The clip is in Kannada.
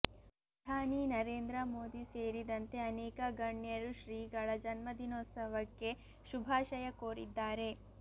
ಪ್ರಧಾನಿ ನರೇಂದ್ರ ಮೋದಿ ಸೇರಿದಂತೆ ಅನೇಕ ಗಣ್ಯರು ಶ್ರೀಗಳ ಜನ್ಮ ದಿನೋತ್ಸವಕ್ಕೆ ಶುಭಾಶಯ ಕೋರಿದ್ದಾರೆ